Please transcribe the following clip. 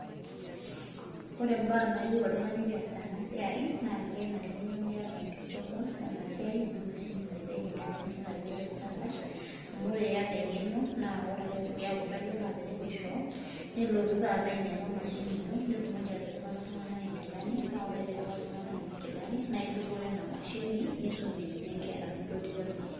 Orw mbaa nayiau oltungani peas emasia na kenarikino niata engeno enamashini naripieki irkarash amu ore iata engeno nikotu ainyangu emashini ino nilotu aripaki ltunganak nkikani naa ore pindipaki ltunganak nona kilani nisumie nkera nidupore